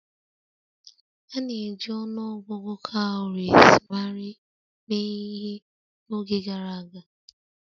A na-eji ọnụ ọgụgụ cowries mee ihe n'oge gara aga.